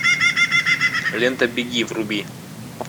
лента беги вруби